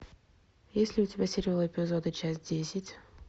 есть ли у тебя сериал эпизоды часть десять